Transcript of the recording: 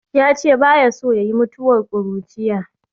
Ya ce ba ya so ya yi mutuwar ƙuruciya